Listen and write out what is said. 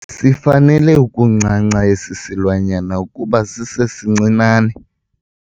Sifanele ukuncanca esi silwanyana kuba sisesincinane.